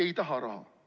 Ei taha raha.